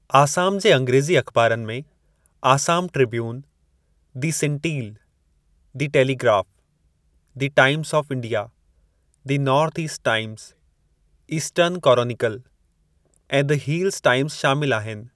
आसाम जे अंग्रेज़ी अख़िबारुनि में Assam Tribune, the Sentinel, the Telegraph, the Times of India, the North East Times, Eastern Chronicle ऐं दी हीलज़ टाइमज़ शामिलु आहिनि।